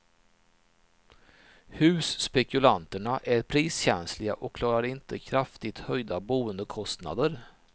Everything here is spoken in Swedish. Husspekulanterna är priskänsliga och klarar inte kraftigt höjda boendekostnader.